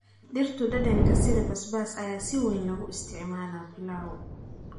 Dhirtu dhadhanka sida basbaas ayaa si weyn loogu isticmaalaa pilau.